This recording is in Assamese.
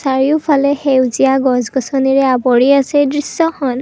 চাৰিওফালে সেউজীয়া গছ গছনিৰে আৱৰি আছে এই দৃশ্যখন।